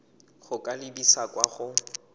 go ka lebisa kwa go